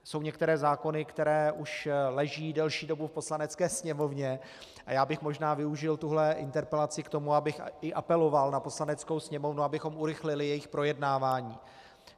Jsou některé zákony, které už leží delší dobu v Poslanecké sněmovně, a já bych možná využil tuhle interpelaci k tomu, abych i apeloval na Poslaneckou sněmovnu, abychom urychlili jejich projednávání.